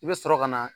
I bɛ sɔrɔ ka na